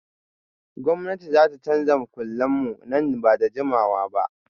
Gwamnati za ta canza duk makullan mu nan ba da jimawa ba